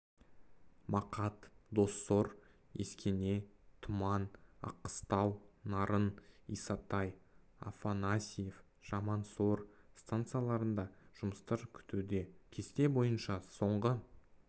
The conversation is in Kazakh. мақат доссор ескене тұман аққыстау нарын исатай афанасьев жамансор станцияларында жұмыстар күтуде кесте бойынша соңғы